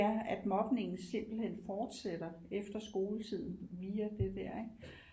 Ja at mobningen simpelthen fortsætter efter skoletid via det der ikke